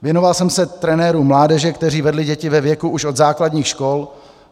Věnoval jsem se trenérům mládeže, kteří vedli děti ve věku už od základních škol.